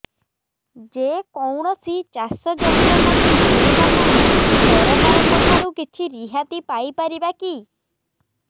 ଯେ କୌଣସି ଚାଷ ଯନ୍ତ୍ରପାତି କିଣିବା ପାଇଁ ସରକାରଙ୍କ ଠାରୁ କିଛି ରିହାତି ପାଇ ପାରିବା କି